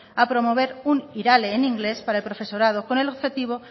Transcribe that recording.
a promover un irale en inglés para el profesorado con el objetivo